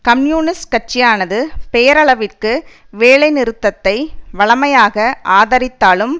communist கட்சியானது பெயரளவிற்கு வேலைநிறுத்தத்தை வழமையாக ஆதரித்தாலும்